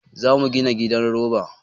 Za mu gina gidan roba.